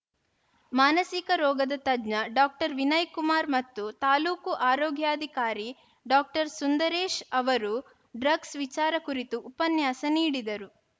ಮಾನಸಿಕ ರೋಗದ ತಜ್ಞ ಡಾಕ್ಟರ್ ವಿನಯ್‌ಕುಮಾರ್‌ ಮತ್ತು ತಾಲೂಕು ಆರೋಗ್ಯಾಧಿಕಾರಿ ಡಾಕ್ಟರ್ ಸುಂದರೇಶ್‌ ಅವರು ಡ್ರಗ್ಸ್‌ ವಿಚಾರ ಕುರಿತು ಉಪನ್ಯಾಸ ನೀಡಿದರು